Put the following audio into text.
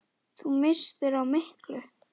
Þú misstir af miklu!